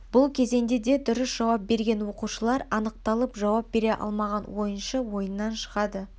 бұл кезеңде де дұрыс жауап берген оқушылар анықталып жауап бере алмаған ойыншы ойыннан шығады